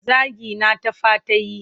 Zagina ta fa ta yi.